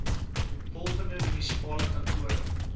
volgende munisipale kantore